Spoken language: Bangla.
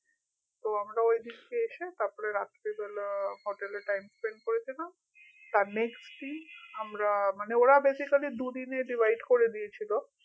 তো আমরা ঐ দিনকে এসে তারপরে আমরা রাত্রে বেলা হোটেল এ time spend করেছিলাম তার next দিন আমরা মানে ওরা basically দুদিনে divide করে দিয়েছিলো